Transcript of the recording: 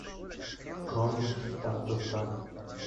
кронштадта